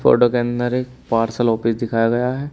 Photo के अंदर एक पार्सल ऑफिस दिखाया गया है।